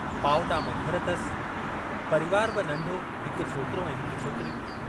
पावटा में घरु अथसि, परिवारु बि नंढो हिकु छोकिरो ऐं हिक छोकिरी।